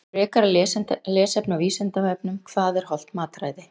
Frekara lesefni á Vísindavefnum Hvað er hollt mataræði?